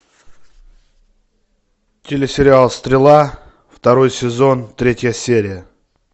телесериал стрела второй сезон третья серия